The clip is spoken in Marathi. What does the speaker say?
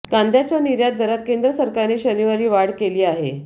कांद्याच्या निर्यात दरात केंद्र सरकारने शनिवारी वाढ केली आहे